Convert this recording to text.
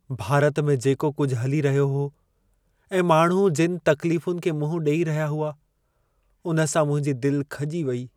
भारत में जेको कुझु हली रहियो हो ऐं माण्हू जिनि तक़्लीफुनि खे मुंह ॾेई रहिया हुआ, उन सां मुंहिंजी दिलि खॼी वेई।